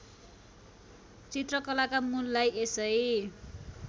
चित्रकलाका मूललाई यसै